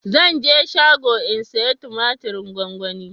Zan je shago in saya tumatirin gwanwani